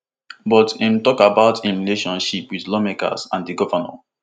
but im tok about im relationship wit lawmakers and di govnor